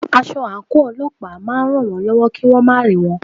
Aṣọ àǹkóò Ọlọ́pàá náà ma ràn wón lọ́wọ́ kí wón má rí wọn.